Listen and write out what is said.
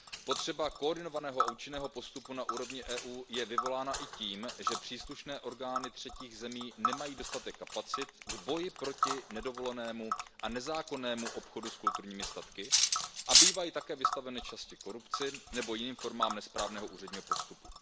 Potřeba koordinovaného a účinného postupu na úrovni EU je vyvolána i tím, že příslušné orgány třetích zemí nemají dostatek kapacit k boji proti nedovolenému a nezákonnému obchodu s kulturními statky a bývají také vystaveny často korupci nebo jiným formám nesprávného úředního postupu.